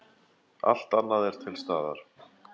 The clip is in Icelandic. Allt annað er til staðar.